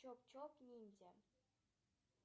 чоп чоп ниндзя